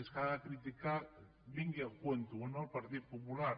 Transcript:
és que ha de criticar vingui a tomb o no el partit popular